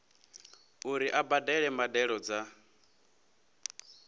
uri a badele mbadelo dza